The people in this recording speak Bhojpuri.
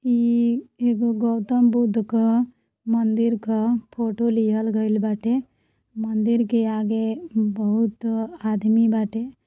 ई एगो गौतम बुद्ध क मंदिर क फोटो लिहल गइल बाटे। मंदिर के आगे न् बहुत-अ आदमी बाटे।